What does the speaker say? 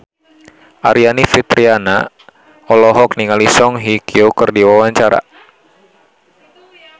Aryani Fitriana olohok ningali Song Hye Kyo keur diwawancara